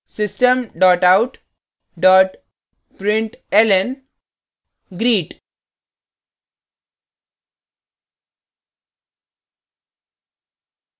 system out println greet;